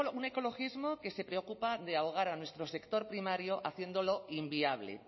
un ecologismo que se preocupa de ahogar a nuestro sector primario haciéndolo inviable